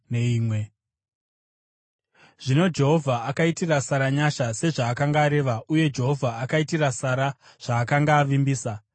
Zvino Jehovha akaitira Sara nyasha sezvaakanga areva, uye Jehovha akaitira Sara zvaakanga avimbisa.